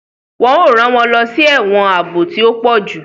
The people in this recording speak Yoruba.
Wọn o ran wọn lọ sí ẹwọn ààbò tí o pọju